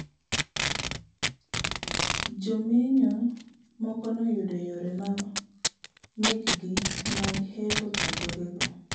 Jomenyo moko noyudo yore ma mek gi mag hepo chandruoge go